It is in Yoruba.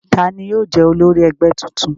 Ta ni yóò jẹ́ olórí ẹgbẹ́ tuntun?